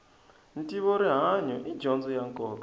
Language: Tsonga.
ntivo rihanyu i dyondzo ya nkoka